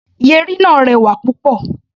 Yẹ̀rì náà rẹwà púpọ̀.